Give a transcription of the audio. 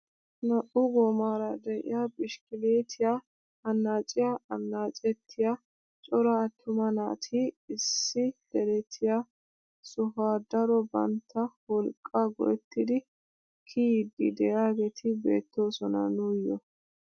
Naa"u goomara de'iyaa bishikilitiyaa annaaciyaa annacettiyaa cora attuma naati issi deretiyaa sohuwaa daro bantta wolqqaa go"ettidi kiyiidi de'iyaageti beettoosona nuuyoo!